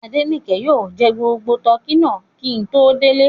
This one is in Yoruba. Adenike yóò jẹ gbogbo tọkí náà kí n tó délé